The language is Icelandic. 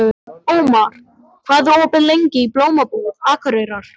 Ómar, hvað er opið lengi í Blómabúð Akureyrar?